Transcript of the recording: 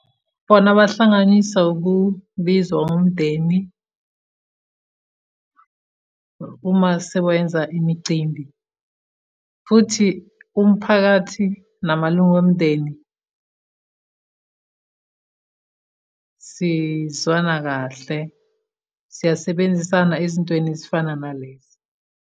Bona bahlanganiswa ukubizwa wumndeni uma sewenza imicimbi, futhi umphakathi namalunga omndeni, sizwana kahle. Siyasebenzisana ezintweni ezifana nalezi.